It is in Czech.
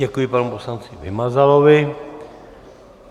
Děkuji panu poslanci Vymazalovi.